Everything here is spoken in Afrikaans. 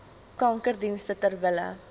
kankerdienste ter wille